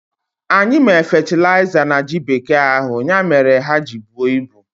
Anyị mee fetịliza na ji bekee ahụ, ya mere ha ji buo ibu